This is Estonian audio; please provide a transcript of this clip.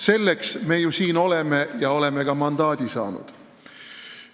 Selleks me ju siin oleme ja selleks oleme ka mandaadi saanud.